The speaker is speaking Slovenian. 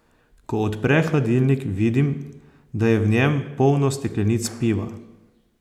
Ko odpre hladilnik, vidim, da je v njem polno steklenic piva.